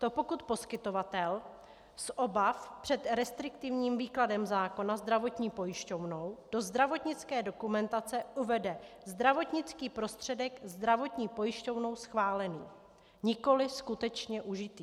To pokud poskytovatel z obav před restriktivním výkladem zákona zdravotní pojišťovnou do zdravotnické dokumentace uvede - zdravotnický prostředek zdravotní pojišťovnou schválený, nikoliv skutečně užitý.